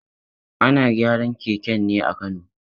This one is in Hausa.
Ana gyaran keken ne a Kano.